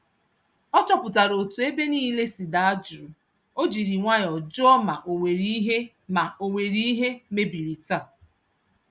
Ọ chọpụtara otú ébé nílé si daa jụụ, ojiri nwayọ jụọ ma onwere ìhè ma onwere ìhè mebiri taa